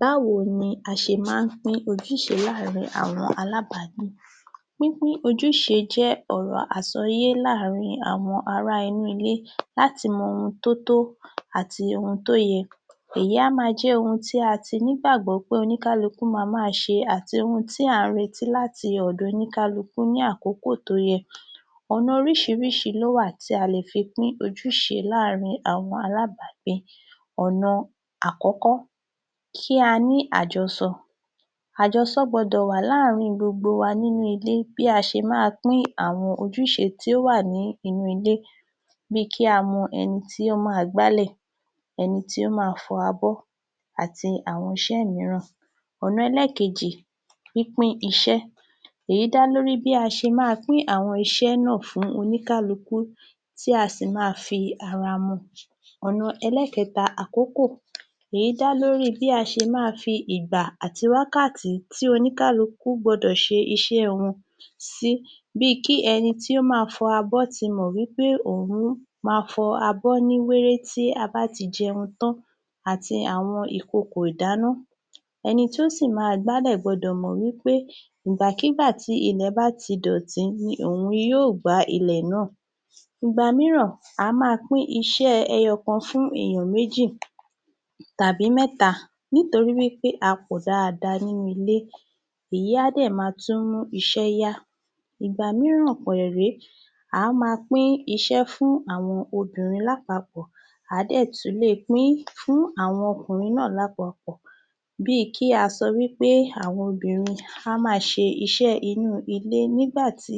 Báwo ni a ṣe ma ń pín ojúṣe láàrin àwọn alábágbé? Pínpín ojúṣe jẹ́ ọ̀rọ̀ àsọyé láàrin àwọn ará inú ilé láti mọ ohun tó tó àti ohun tó yẹ èyí á máa jẹ́ ohun tí a ti nígbàgbọ́ pé oníkálukú ma máa ṣe àti irú ń tí à ń retí láti ọ̀dọ̀ oníkálukú ní àkókò tó yẹ. Ọ̀nà oríṣiríṣi ló wà tí a lè fi pín ojúṣe láàrin àwọn alábágbé. Ọ̀nà àkọ́kọ́ kí a ní àjọsọ, àjọsọ gbọdọ̀ wà láàrin gbogbo wa nínú ilé bí a ṣe máa pín àwọn ojúṣe tí ó wà ní inú ilé bí i kí a mọ ẹni tí ó ma gbálẹ̀, ẹni tí ó ma fọ abọ àti àwọn iṣẹ́ míràn. Ọ̀nà ẹlẹ́kejì pínpín iṣẹ́, èyí dá lórí i bí a ṣe máa pín iṣẹ́ náà fún oníkálukú tí a sì máa fi ara mọ. Ọ̀nà ẹlẹ́kẹta- àkókò: èyí dá lórí i bí a ṣe máa fi ìgbà àti wákàtí tí oníkálukú gbọdọ̀ ṣe iṣẹ́ wọn sí bí i kí ẹni tí ó máa fọ abọ́ ti mọ̀ wí pé òun máa fọ abọ́ ní wéré tí a bá ti jẹun tán àti ìkokò ìdáná ẹni tí ó sì ma gbál̀ gbọdọ̀ mọ̀ wí pé ìgbàkígbà tí ilẹ̀ bá ti dọ̀tí ni òun yóò gbá ilẹ̀ náà. Ìgbà míràn a máa pín iṣẹ́ ẹyọ̀kan fún èèyàn méjì tàbí mẹ́ta nítorí wí pé a pọ̀ dáadáa nínú ilé, èyí á dẹ̀ ma tún mú iṣẹ́ yá. Ìgbà míràn pẹ̀rẹ̀ ré à á ma pín iṣẹ́ fún àwọn obìnrin à á dẹ̀ tún le pín fún àwọn ọkùnrin náà lápapọ̀ bí i kí a sọ wí pé kí àwọn obìnrin a máa ṣe iṣẹ́ inú ilé nígbà tí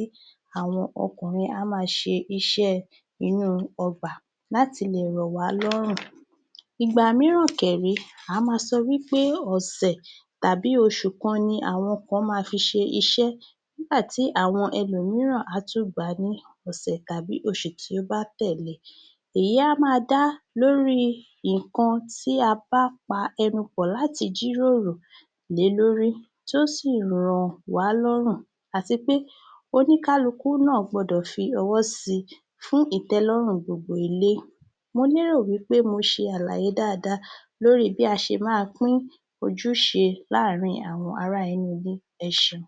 àwọn ọkùnrin a máa ṣe iṣẹ́ ẹ inú ọgbà lá ti lè rọ̀ wá lọ́rùn. Ìgbà míràn kẹ̀ ré à á ma sọ pé ọ̀sẹ̀ tàbí oṣù kan ni àwọn kan ma fi ṣe iṣẹ́ nígbà tí àwọn ẹlòmíràn á tún gbà á ní ọ̀sẹ̀ tàbí oṣù tí ó bá tẹ̀le. Èyí á ma dá lórí i ǹkan tí a bá pa ẹnu pọ̀ láti jíròrò lé lórí tí ó sì rọ̀ wá lọ́rùn àti pé oníkálukú náà gbọdọ̀ fi ọwọ́ si fún ìtẹ́lọ́rùn gbogbo ilé. Mo lérò wí pé mo ṣe àlàyé dáadáa lórí bí a ṣe máa pín ojúṣẹ láàrin àwọn ará inú ilé. Ẹ ṣeun